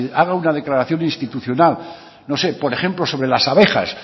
haga una declaración institucional no sé por ejemplo sobre las abejas